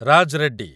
Raj Reddy